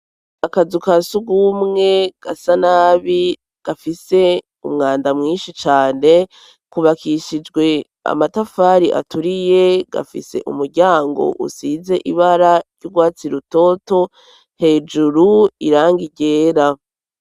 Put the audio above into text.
Akazu ka sugmwe gasa nabi gafise umwanda mwinshi cane, kubakishijwe amatafari aturiye gafise umuryango usize ibara ry'urwatsi rutoto, hejuru irangi ryera.